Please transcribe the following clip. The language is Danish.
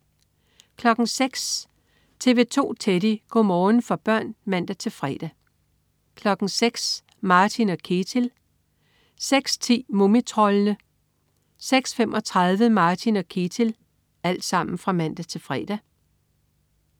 06.00 TV 2 Teddy. Go' morgen for børn (man-fre) 06.00 Martin og Ketil (man-fre) 06.10 Mumitroldene (man-fre) 06.35 Martin og Ketil (man-fre)